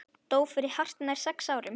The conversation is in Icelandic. Dó fyrir hartnær sex árum.